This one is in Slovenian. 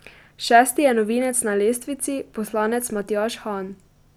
Šesti je novinec na lestvici, poslanec Matjaž Han.